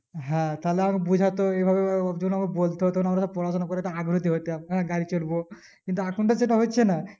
হ্যাঁ তাহলে আহ বোঝাতো এইভাবে এইভাবে ওর জন বলতো তখন আমাদের পড়াশোনা করতে আগ্রহতি হতাম হ্যাঁ গাড়ি চড়বো কিন্তু এখন তো সেটা হচ্ছে না